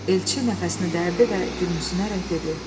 Elçi nəfəsini dərdi və gülümsünərək dedi: